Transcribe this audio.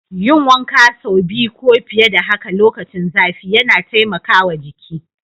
Yin wanka saubi ko fiye da haka lokacin zafi yana taimakawa jiki.